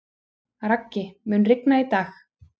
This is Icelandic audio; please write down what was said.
Raggi, mun rigna í dag?